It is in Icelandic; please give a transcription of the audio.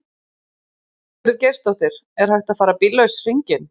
Ingveldur Geirsdóttir: Er hægt að fara bíllaus hringinn?